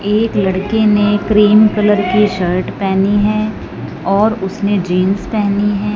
एक लड़के ने क्रीम कलर की शर्ट पहनी है और उसने जींस पहनी है।